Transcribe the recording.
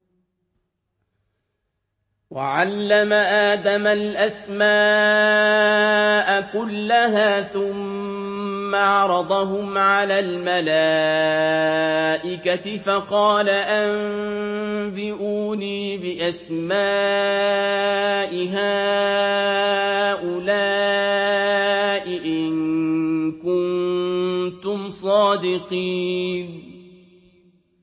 وَعَلَّمَ آدَمَ الْأَسْمَاءَ كُلَّهَا ثُمَّ عَرَضَهُمْ عَلَى الْمَلَائِكَةِ فَقَالَ أَنبِئُونِي بِأَسْمَاءِ هَٰؤُلَاءِ إِن كُنتُمْ صَادِقِينَ